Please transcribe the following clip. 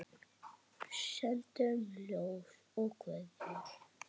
Sendum ljós og kveðjur hlýjar.